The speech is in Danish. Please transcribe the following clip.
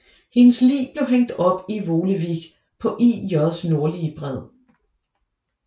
Hendes lig blev hængt op i Volewijk på IJs nordlige bred